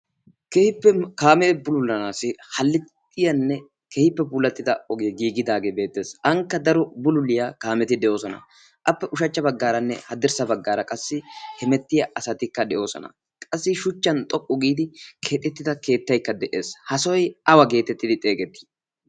kehippe kaamee bululanaassi hallixxiyaanne kehiippe pulattida ogee giigidaagee beettees. haanikka daro bululiyaa kaameti de'oosona appe ushachcha baggaaranne haddirssa baggaara qassi hemettiya asatikka de'oosona qassi shuchchan xoqqu giidi keexettida keettaikka de'ees ha soi awa geetettidi xeegettii?